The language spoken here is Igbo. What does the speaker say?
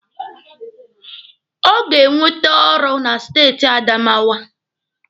Ọ ga-enwete ọrụ na steeti Adamawa.